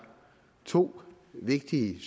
to vigtige